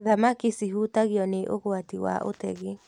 Thamaki cihutagio nĩ ũgwati wa ũtegi.